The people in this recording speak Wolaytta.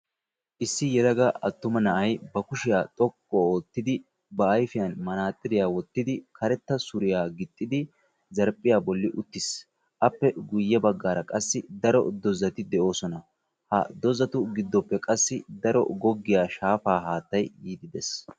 Issi yelaga attuma na"ay ba kushiya xoqqu oottidi ba ayfiyan manaxiriya wottidi karetta suriya gixxidi zarphphiya bolli uttis. Appe guyye baggaara qassi daro dozzati de'oosona. Ha dozzatu giddoppe qassi daro goggiya shaafaaa haattay yiiddi dees.